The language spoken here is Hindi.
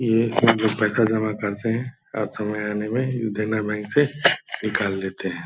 ये लोग पैसा जमा करते हैं और समय आने में देना बैंक से निकाल लेते हैं।